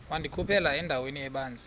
wandikhuphela endaweni ebanzi